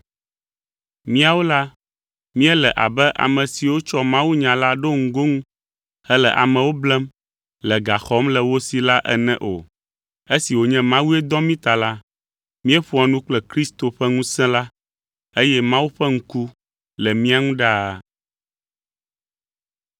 Míawo la, míele abe ame siwo tsɔ mawunya la ɖo ŋgonu hele amewo blem, le ga xɔm le wo si la ene o. Esi wònye Mawue dɔ mí ta la, míeƒoa nu kple Kristo ƒe ŋusẽ la, eye Mawu ƒe ŋku le mía ŋu ɖaa.